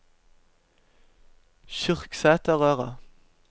Kyrksæterøra